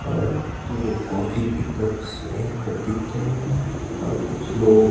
और दो कॉफी के कप्स यहां पर दिख रहे हैं और कुछ लोग--